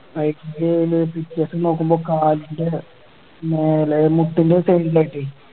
കളിച്ചു കഴിഞ്ഞ് പിറ്റേസം നോക്കുമ്പോ കാലിൻ്റെ മേലെ മുട്ടിൻ്റെ side ലായിട്ടേ